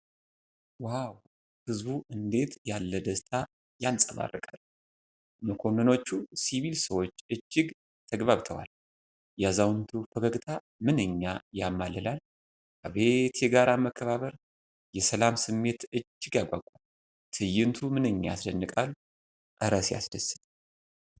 ዋው! ሕዝቡ እንዴት ያለ ደስታ ያንፀባርቃል! መኮንኖቹና ሲቪል ሰዎች እጅግ ተግባብተዋል። የአዛውንቱ ፈገግታ ምንኛ ያማልላል! አቤት የጋራ መከባበር! የሰላም ስሜት እጅግ ያጓጓል። ትዕይንቱ ምንኛ ያስደንቃል! እረ ሲያስደስት!